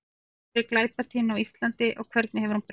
Hver er glæpatíðni á Íslandi og hvernig hefur hún breyst?